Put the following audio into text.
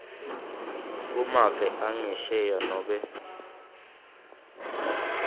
kumave angesheya nobe